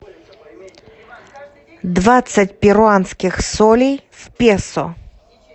двадцать перуанских солей в песо